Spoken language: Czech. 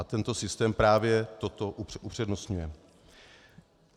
A tento systém právě toto upřednostňuje.